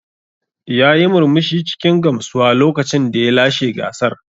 Yayi murmushi cikin gamsuwa lokacin da ya lashe gasar.